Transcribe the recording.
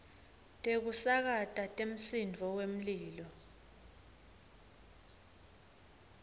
tekusakata temsindvo wemlilo